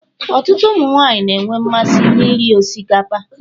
Ọtụtụ ụmụ nwaanyị na-enwe mmasị na ị rị osikapa.